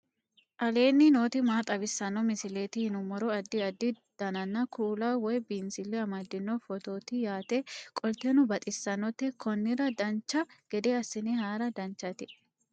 aleenni nooti maa xawisanno misileeti yinummoro addi addi dananna kuula woy biinsille amaddino footooti yaate qoltenno baxissannote konnira dancha gede assine haara danchate